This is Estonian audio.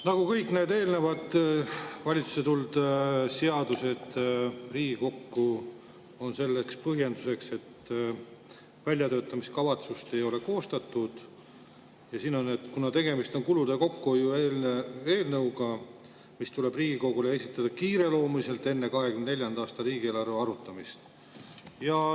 Nagu kõigi eelnevate valitsusest Riigikokku tulnud seaduste puhul, on ka siin põhjenduseks, miks väljatöötamiskavatsust ei ole koostatud, et tegemist on kulude kokkuhoiu eelnõuga, mis tuleb Riigikogule esitada kiireloomuliselt, enne 2024. aasta riigieelarve arutamist.